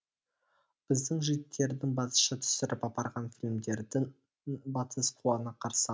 біздің жігіттердің батысша түсіріп апарған фильмдердің батыс қуана қарсы алды